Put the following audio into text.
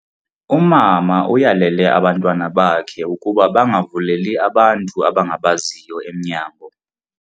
Umama uyalele abantwana bakhe ukuba bangavuleli abantu abangabaziyo emnyango.